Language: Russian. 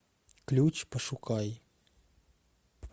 ключ пошукай